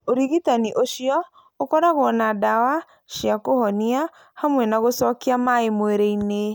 Ũrigitani ũcio ũkoragwo na ndawa cia kũhonia hamwe na gũcokia maĩ mwĩrĩ-inĩ.